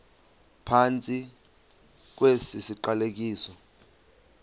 phantsi kwesi siqalekiso